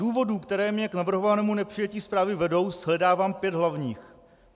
Důvodů, které mě k navrhovanému nepřijetí zprávy vedou, shledávám pět hlavních.